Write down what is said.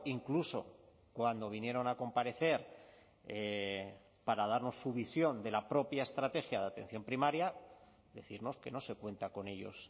incluso cuando vinieron a comparecer para darnos su visión de la propia estrategia de atención primaria decirnos que no se cuenta con ellos